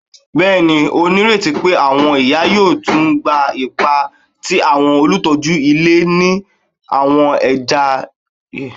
Bẹẹni, o nireti pe awọn iya yoo tun gba ipa ti awọn olutọju ile ni awọn ẹya idile iwaju